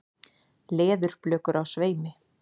Leðurblökur á sveimi.